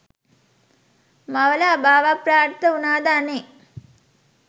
මවල අභාවප්‍රාප්ත උනාද අනේ.